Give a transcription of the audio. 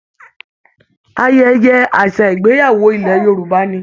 Ayẹyẹ àṣà ìgbéyàwó ilẹ̀ Yorùbá ni